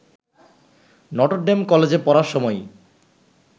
Notre Dame কলেজে পড়ার সময়ই